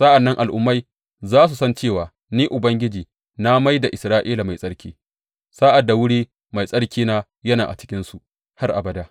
Sa’an nan al’ummai za su san cewa Ni Ubangiji na mai da Isra’ila mai tsarki, sa’ad da wuri mai tsarkina yana a cikinsu har abada.